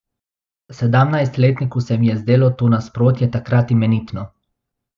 Sedemnajstletniku se mi je zdelo to nasprotje takrat imenitno.